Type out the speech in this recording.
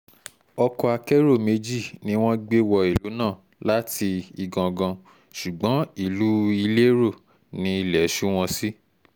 ọkọ̀ akẹ́rọ méjì ni wọ́n gbé wọ ìlú náà láti igangan ṣùgbọ́n ìlú ilérò ní ilé ṣù wọ́n sí